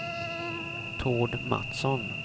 Tord Matsson